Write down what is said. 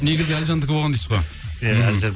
негізі әлжандікі болған дейсіз ғой иә әлжан